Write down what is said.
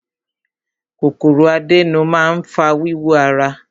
Kòkòrò àdénù máa ń fa wíwú ara.